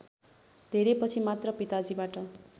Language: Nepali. धेरैपछि मात्र पिताजीबाट